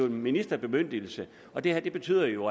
en ministerbemyndigelse og det her betyder jo